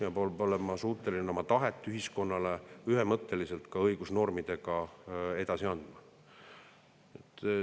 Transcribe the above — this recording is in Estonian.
Ta peab olema suuteline oma tahet ühiskonnale ühemõtteliselt ka õigusnormidega edasi andma.